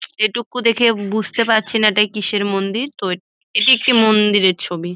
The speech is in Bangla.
এইটুকু দেখে বুজতে পারছি না এইটা কিসের মন্দির তো এটি একটি মন্দিরের ছবি।